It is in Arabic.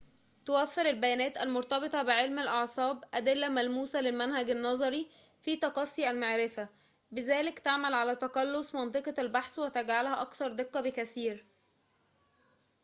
توفّر البيانات المرتبطة بعلم الأعصاب أدلّة ملموسة للمنهج النظري في تقصّي المعرفة بذلك تعمل على تقلُّص منطقة البحث وتجعلها أكثر دقّة بكثير